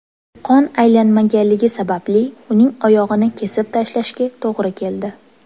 Qon aylanmaganligi sababli uning oyog‘ini kesib tashlashga to‘g‘ri keldi.